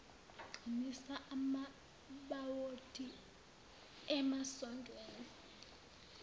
qinisa amabhawodi emasondweni